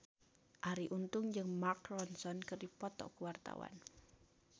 Arie Untung jeung Mark Ronson keur dipoto ku wartawan